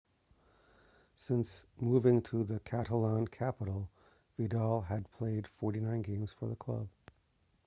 since moving to the catalan-capital vidal had played 49 games for the club